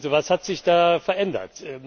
Was hat sich da verändert?